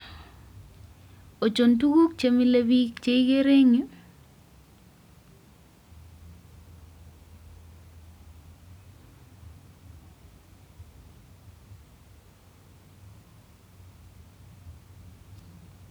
Ochon tukuk chemilebich cheikerei any yu